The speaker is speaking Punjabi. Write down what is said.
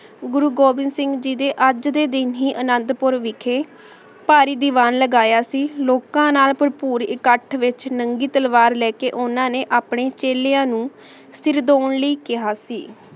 ਗੁਰੂ ਗੋਵਿੰਦ ਸਿੰਘ ਜੀ ਦੇ ਆਜ ਦੇ ਦਿਨ ਹੀ ਅਨਾਦ ਪੁਰ ਵਿਖੇ ਪਹਰੀ ਦੀਵਾਨ ਲਗਾਯਾ ਸੀ ਲੋਕਾਂ ਨਾਲ ਭਰਪੂਰ ਇਕਠ ਵਿਚ ਨੰਗੀ ਤਲਵਾਰ ਲੇ ਕੇ ਓਹਨਾਂ ਨੇ ਅਪਨੇ ਚੇਲ੍ਯਾਂ ਨੂ ਸੇਰ ਦੂਂ ਲੈ ਕੇਹਾ ਸੀ